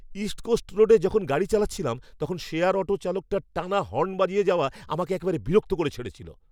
East coast রোডে যখন গাড়ি চালাচ্ছিলাম তখন শেয়ার অটো চালকটার টানা হর্ন বাজিয়ে যাওয়া আমাকে একেবারে বিরক্ত করে ছেড়েছিল!